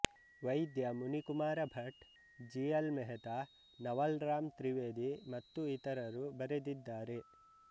ವೈದ್ಯ Munikumara Bhat G L Mehta Naval Ram Trivedi ಮತ್ತು ಇತರರು ಬರೆದಿದ್ದಾರೆ